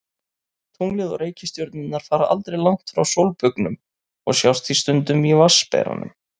Tunglið og reikistjörnurnar fara aldrei langt frá sólbaugnum og sjást því stundum í Vatnsberanum.